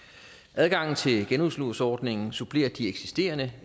adgangen til genudlånsordningen supplerer de eksisterende